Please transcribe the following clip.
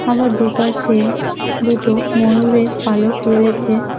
আমার দুপাশে দুটো ময়ূরের পালক রয়েছে।